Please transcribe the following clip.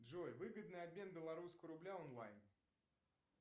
джой выгодный обмен белорусского рубля онлайн